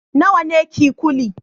Nawa ne kikuli